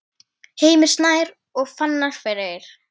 Heimir Snær og Fannar Freyr.